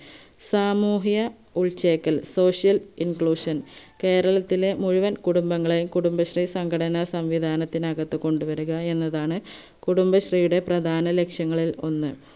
സാമൂഹ്യ ഉൾചേക്കൽ social inclusion കേരളത്തിലെ മുഴുവൻ കുടുംബങ്ങളെയും കുടുംബശ്രീ സംഘടന സംവിദാനത്തിനകത് കൊണ്ടുവരിക എന്നതാണ് കുടുംബശ്രീയുടെ പ്രദാന ലക്ഷ്യങ്ങളിൽ ഒന്ന്